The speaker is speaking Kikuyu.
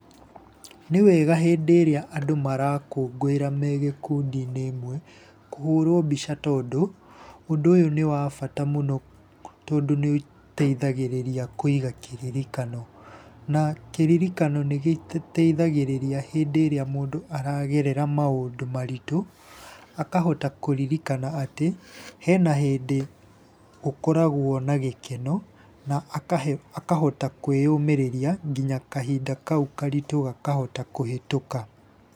Nĩ wega hĩndĩ ĩrĩa andũ marakũngũĩra me gĩkundi-inĩ ĩmwe, kũhũrwo mbica, tondũ ũndũ nĩ wa bata mũno, tondũ nĩũteithagĩrĩria kũiga kĩririkano. Na kĩririkano nĩ gĩ tũteithagĩrĩria hĩndĩ ĩrĩa mũndũ aragerera maũndũ maritũ akahota kũririkana atĩ hena hĩndĩ gũkoragwo na gĩkeno na akahota kwĩyũmĩria nginya kahinda kau karitũ gakahota kũhĩtũka.